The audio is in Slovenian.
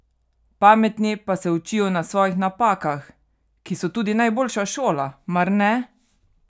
Pametni pa se učijo na svojih napakah, ki so tudi najboljša šola, mar ne?